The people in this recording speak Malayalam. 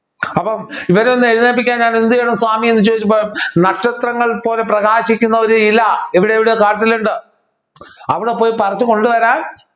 അപ്പോ ഇവരൊന്നു എഴുന്നേൽപ്പിക്കാൻ ഞാൻ എന്തു ചെയ്യണം സ്വാമി എന്ന് ചോദിച്ചപ്പോ നക്ഷത്രങ്ങൾ പോലെ പ്രകാശിക്കുന്ന ഒരു ഇല ഇവിടെ എവിടെയോ കാട്ടിൽ ഉണ്ട് അവിടെ പോയി പറിച്ചു കൊണ്ടുവരാൻ